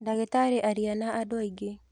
ndagītarī aria na andū aingī.